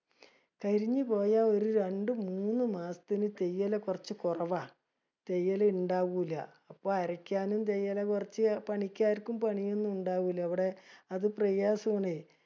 കരിഞ്ഞു പോയ ഒരു രണ്ടു മൂന്ന് മാസത്തിനു തേയില കുറച്ചു കുറവാ. തേയില ഇണ്ടാവൂല. അപ്പൊ അരക്കാനും തേയില കുറച്ചേ പണിക്കാർക്കും പണിയൊന്നും ഇണ്ടാവൂല. ഇവിടെ അത് പ്രയാസമാണ്.